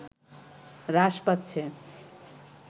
হ্রাস পাচ্ছে